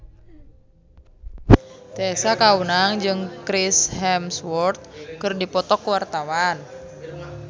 Tessa Kaunang jeung Chris Hemsworth keur dipoto ku wartawan